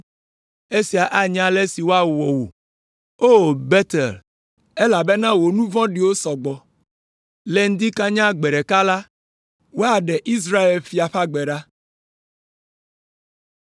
Esia anye ale si woawɔ wò, O Betel, elabena wò nu vɔ̃ɖiwo sɔ gbɔ. Le ŋdi kanya gbe ɖeka la, woaɖe Israel fia ƒe agbe ɖa.